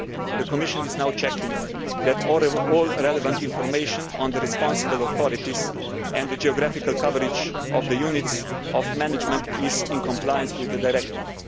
The Commission is now checking that all relevant information on the responsible authorities and the geographical coverage of the units of management is in compliance with the directive.